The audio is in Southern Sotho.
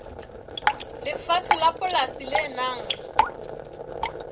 lefatshe la polasi le nang